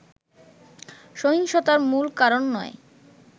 সহিংসতার মূল কারণ নয়